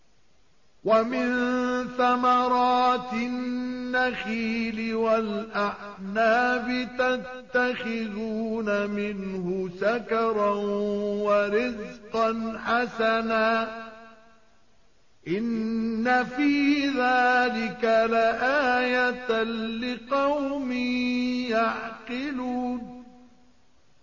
وَمِن ثَمَرَاتِ النَّخِيلِ وَالْأَعْنَابِ تَتَّخِذُونَ مِنْهُ سَكَرًا وَرِزْقًا حَسَنًا ۗ إِنَّ فِي ذَٰلِكَ لَآيَةً لِّقَوْمٍ يَعْقِلُونَ